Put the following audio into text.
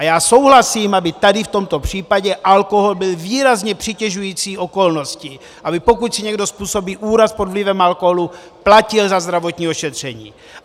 A já souhlasím, aby tady v tomto případě alkohol byl výrazně přitěžující okolností, aby pokud si někdo způsobí úraz pod vlivem alkoholu, platil za zdravotní ošetření.